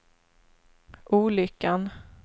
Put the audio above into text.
olyckan